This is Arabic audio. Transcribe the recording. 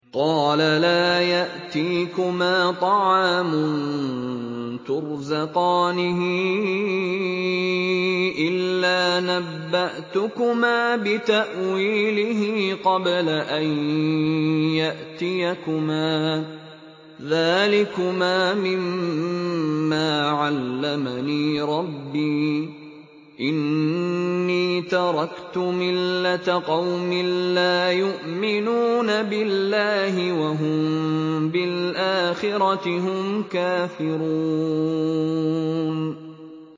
قَالَ لَا يَأْتِيكُمَا طَعَامٌ تُرْزَقَانِهِ إِلَّا نَبَّأْتُكُمَا بِتَأْوِيلِهِ قَبْلَ أَن يَأْتِيَكُمَا ۚ ذَٰلِكُمَا مِمَّا عَلَّمَنِي رَبِّي ۚ إِنِّي تَرَكْتُ مِلَّةَ قَوْمٍ لَّا يُؤْمِنُونَ بِاللَّهِ وَهُم بِالْآخِرَةِ هُمْ كَافِرُونَ